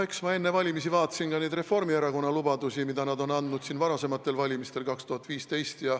Eks ma enne valimisi vaatasin ka Reformierakonna lubadusi, mida te andsite varasematel valimistel, näiteks 2015.